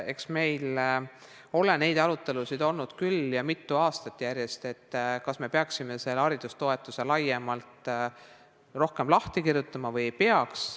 Eks meil ole neid arutelusid olnud küll ja mitu aastat järjest, et kas peaksime haridustoetused laiemalt, rohkem lahti kirjutama või ei peaks.